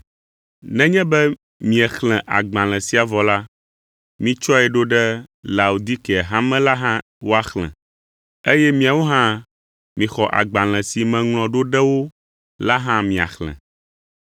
Nenye be miexlẽ agbalẽ sia vɔ la, mitsɔe ɖo ɖe Laodikea hame la hã woaxlẽ, eye miawo hã mixɔ agbalẽ si meŋlɔ ɖo ɖe wo la hã miaxlẽ.